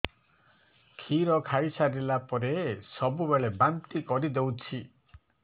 କ୍ଷୀର ଖାଇସାରିଲା ପରେ ସବୁବେଳେ ବାନ୍ତି କରିଦେଉଛି